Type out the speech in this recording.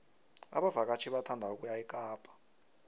abavakatjhi bathanda ukuya ekapa